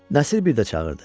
Nəsir bir də çağırdı.